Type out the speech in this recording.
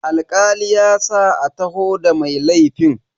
Alkali ya sa a taho da mai laifin.